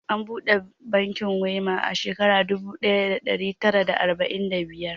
An buɗe bankin Wema a shekarar dubu ɗaya da ɗari tara da arba'in da biyar.